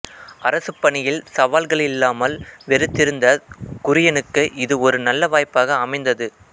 அரசுப் பணியில் சவால்களில்லாமல் வெறுத்திருந்த குரியனுக்கு இது ஒரு நல்ல வாய்ப்பாக அமைந்தது